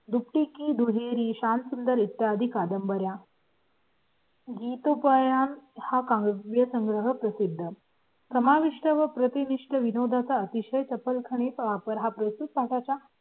दुपटी कुही शांत सुंदर इतर कादंबर् या. जी तुमच्या हा काव्यसंग्रह प्रसिद्ध समाविष्ट आहे. प्रति निष्ठ विनोदा चा विषय चपल खाणी पापरा प्रस्तुत काठच्या